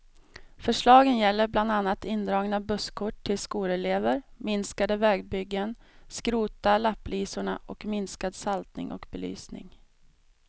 Förslagen gäller bland annat indragna busskort till skolelever, minskade vägbyggen, skrota lapplisorna och minskad saltning och belysning.